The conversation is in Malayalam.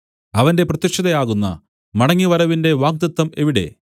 അവന്റെ പ്രത്യക്ഷതയാകുന്ന മടങ്ങിവരവിന്റെ വാഗ്ദത്തം എവിടെ